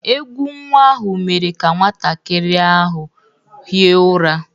Egwú nnwa ahụ mere ka nwantakịrị ahụ hie ụra.